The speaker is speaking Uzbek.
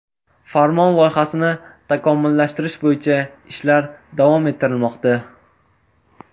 Farmon loyihasini takomillashtirish bo‘yicha ishlar davom ettirilmoqda.